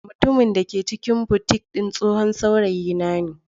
Mutumin da ke cikin boutique din tsohon saurayina ne.